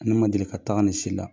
Ne ma deli ka taga nin si la.